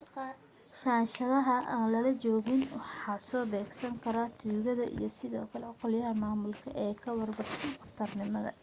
shandadaha aan lala joogin waxa soo beegsan kara tuugada iyo sidoo kale qolyaha maamulka ee ka warwarsan khatar miino